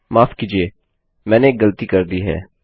माफ कीजिए मैंने एक गलती कर दी है